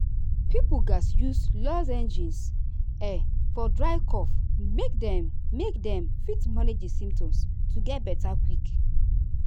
pipo gatz use lozenges um for dry cough make dem make dem fit manage di symptoms to get beta quick.